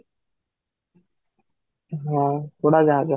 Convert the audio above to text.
ହଁ, ଉଡାଜାହାଜ